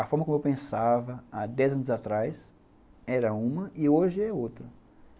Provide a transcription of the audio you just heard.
A forma como eu pensava há dez anos atrás era uma e hoje é outra.